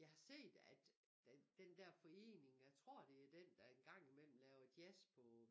Jeg har set at den den der forening jeg tror det er den der en gang imellem laver jazz på